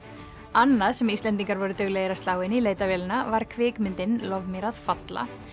annað sem Íslendingar voru duglegir að slá inn í leitarvélina var kvikmyndin lof mér að falla